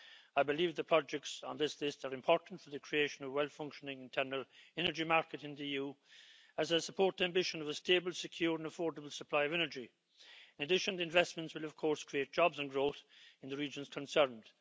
I believe the projects on this list are important for the creation of a well functioning internal energy market in the EU, as I support the ambition of a stable, secure and affordable supply of energy. Additional investments will, of course, create jobs and growth in the regions concerned.